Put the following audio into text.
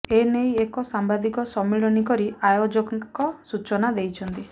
ଏନେଇ ଏକ ସାମ୍ବାଦିକ ସମ୍ମିଳନୀ କରି ଆୟୋଜକ ସୁଚନା ଦେଇଛନ୍ତି